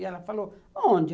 E ela falou, onde?